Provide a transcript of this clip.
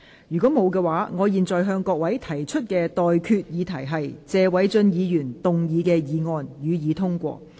如果沒有，我現在向各位提出的待決議題是：謝偉俊議員動議的議案，予以通過。